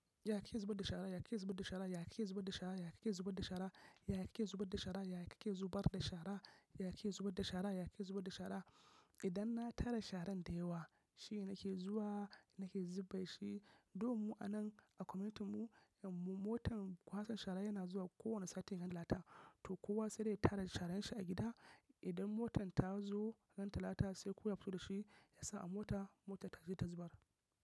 Ya ke zubar da shara, ya ke zubar da shara, ya ke zubar da shara, ya ke zubar da shara, ya ke zubar da shara, ya ke zubar da shara, ya ke zubar da shara, ya ke zubar da shara. Idan na tara sharan da yawa shi ne nake zuwa nake zube shi. Though mu anan a community mu motan kwasan shara yana zuwa kowane satin ranar talata. To kowa sai dai ya tara sharan shi a gida. Idan motan ta zo ran talata sai kuwa ya fito da shi ya sa a mota, motan taje ta zubar.